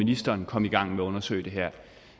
ministeren kom i gang med at undersøge det her